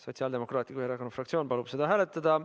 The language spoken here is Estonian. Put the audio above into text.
Sotsiaaldemokraatliku Erakonna fraktsioon palub seda hääletada.